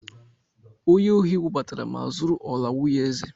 Onye ohị wụbatara ma zúrú ọlà nwunyé èzè